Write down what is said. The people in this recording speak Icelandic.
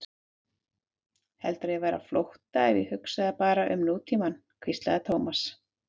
Heldurðu að ég væri á flótta ef ég hugsaði bara um nútímann? hvíslaði Thomas.